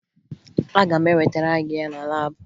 Aga m ewetara gị ya na laabụ